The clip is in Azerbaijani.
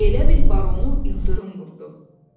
Elə bil Barona ildırım vurdu.